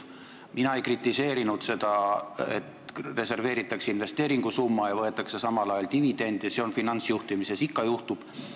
Mina ei kritiseerinud seda, et reserveeritakse investeeringusumma ja võetakse samal ajal dividende – seda finantsjuhtimises ikka juhtub.